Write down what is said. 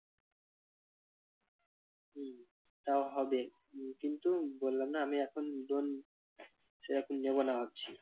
তাও হবে কিন্তু বললাম না আমি এখন loan সেরকম নেব না ভাবছি।